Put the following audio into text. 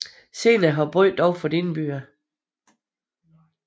Senere har byen dog fået indbyggere